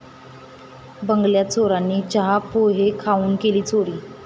बंगल्यात चोरांनी चहा, पोहे खाऊन केली चोरी